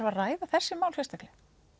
að ræða þessi mál sérstaklega